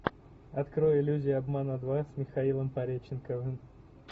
открой иллюзия обмана два с михаилом пореченковым